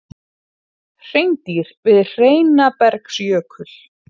Hreindýr við Heinabergsjökul.